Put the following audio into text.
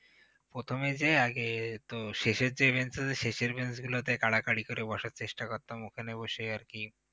প্রথমে যেয়ে আগে তো শেষের যে bench আছে গুলো শেষের bench গুলোতে কাড়াকাড়ি করে বসার চেষ্টা করতাম ওখানে বসেই আর কি